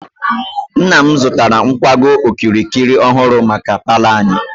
Nna m zụtara nkwago okirikiri ọhụrụ maka paalọ anyị.